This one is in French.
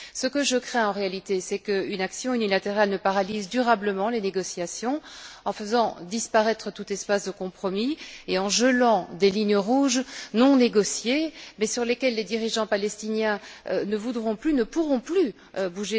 Ce que je crains, en réalité, c'est qu'une action unilatérale ne paralyse durablement les négociations, en faisant disparaître tout espace de compromis et en gelant des lignes rouges non négociées mais sur lesquelles les dirigeants palestiniens ne voudront et ne pourront plus bouger d'un iota.